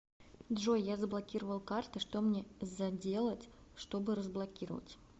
джой я заблокировал карты что мне заделать что бы разблокировать